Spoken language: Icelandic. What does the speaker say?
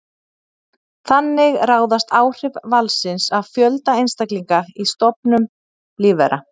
Þannig ráðast áhrif valsins af fjölda einstaklinga í stofnum lífvera.